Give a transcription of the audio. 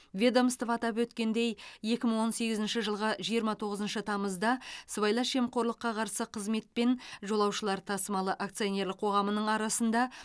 ведомство атап өткендей екі жүз он сегізінші жылғы жиырма тоғызыншы тамызда сыбайлас жемқорлыққа қарсы қызмет пен жолаушылар тасымалы акциолнерлік қоғамының арасында